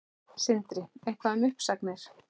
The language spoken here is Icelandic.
Sindri: Eitthvað um uppsagnir?